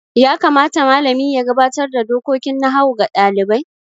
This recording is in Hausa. Ya kamata malami ya gabatar da dokokin nahawu ga ɗalibai?